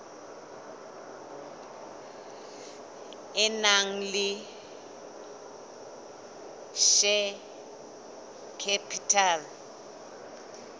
e nang le share capital